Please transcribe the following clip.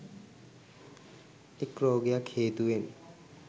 එක් රෝගයක් හේතුවෙන්